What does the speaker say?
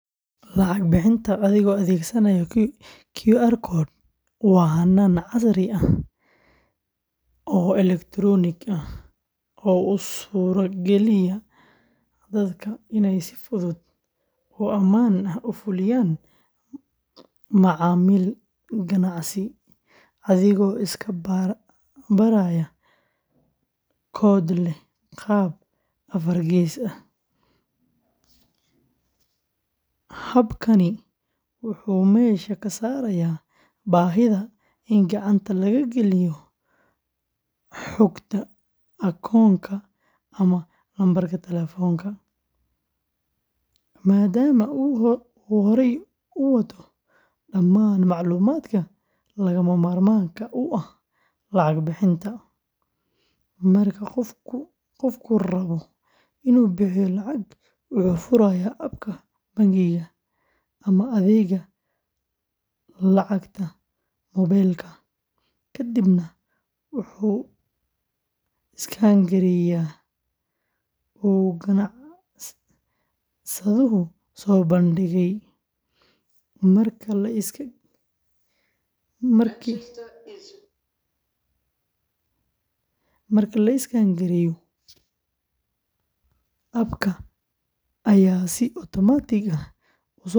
Lacag bixinta adigoo adeegsanaya QR code waa hannaan casri ah oo elektaroonig ah oo u suurageliya dadka inay si fudud oo ammaan ah u fuliyaan macaamil ganacsi adigoo iska baraya koodh leh qaab afar gees ah. Habkani wuxuu meesha ka saarayaa baahida in gacanta laga geliyo xogta akoonka ama lambarka taleefanka, maadaama uu horey u wato dhammaan macluumaadka lagama maarmaanka u ah lacag bixinta. Marka qofku rabo inuu bixiyo lacag, wuxuu furayaa abka bangiga ama adeegga lacagta mobiiil-ka, kadibna wuxuu iskaan gareeyaa uu ganacsaduhu soo bandhigay. Marka la iskaan gareeyo, abka ayaa si otomaatig ah.